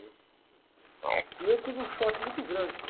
E eu tive um choque muito grande.